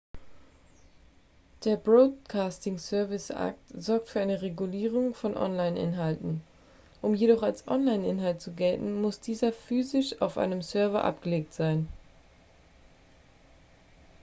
der broadcasting services act sorgt für eine regulierung von online-inhalten um jedoch als online-inhalt zu gelten muss dieser physisch auf einem server abgelegt sein